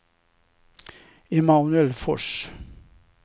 Emanuel Fors